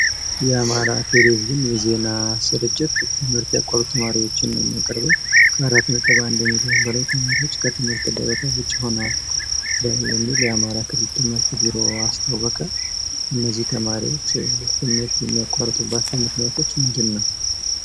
የአማራ ቴሌቪዥን የዜና ስርጭት ትምህርት ያቋረጡ ተማሪዎች ነው የሚያቀርበው ከአራት ነጥብ አንድ ሚሊዮን በላይ ተማሪዎች ከትምህርት ገበታቸው ውጭ ሆነዋል የሚል የአማራ ክልል ትምህርት ቢሮ አስታወቀ እነዚህ ተማሪዎች ትምህርት የሚያቋረጡባቸው ምክንያቶች ምንድን ነው?